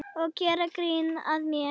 Og gera grín að mér.